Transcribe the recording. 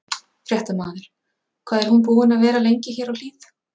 Fréttamaður: Hvað er hún búin að vera lengi hér á Hlíð?